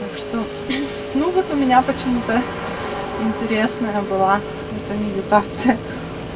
так что ну вот у меня почему-то интересная была эта медитация